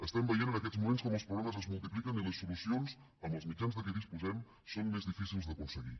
estem veient en aquests moments com els problemes es multipliquen i les solucions amb els mitjans de què disposem són més difícils d’aconseguir